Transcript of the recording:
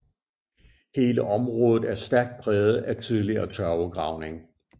Hele området er stærkt præget af tidligere tørvegravning